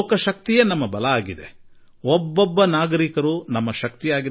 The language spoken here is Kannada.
ಪ್ರಜಾಶಕ್ತಿಯೇ ನಮ್ಮ ಸಾಮರ್ಥ್ಯ ಪ್ರತಿಯೊಬ್ಬ ನಾಗರಿಕನೂ ನಮ್ಮ ಶಕ್ತಿ